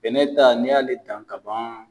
Bɛnɛ ta n'i y'ale dan ka ban.